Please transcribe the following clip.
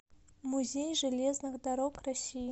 музей железных дорог россии